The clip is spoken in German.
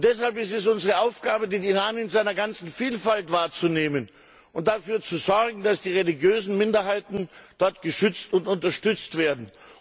Deshalb ist es unsere Aufgabe, den Iran in seiner ganzen Vielfalt wahrzunehmen und dafür zu sorgen, dass die religiösen Minderheiten dort geschützt und unterstützt werden.